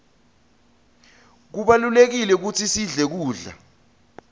kubalulekile kutsi sidle kudla